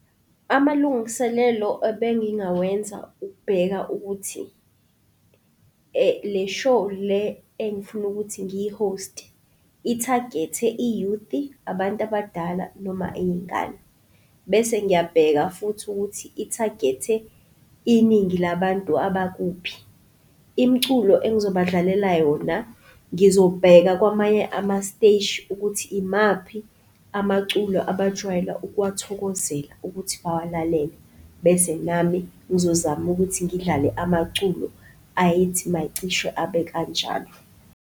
Amalungiselelo ebengingawenza ukubheka ukuthi le show le engifuna ukuthi ngiyi-host-e, i-target-e, i-youth-i, abantu abadala noma iy'ngane, bese ngyabheka futhi ukuthi i-target-e iningi labantu abakuphi. Imiculo engizobadlalela yona ngizobheka kwamanye amasiteshi ukuthi imaphi amaculo abajwayela ukuwathokozela ukuthi bawalalele bese nami ngizozama ukuthi ngidlale amaculo ayethi maycishe abe kanjalo.